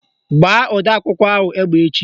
Gbaa odeakwụkwọ ahụ egbe echi!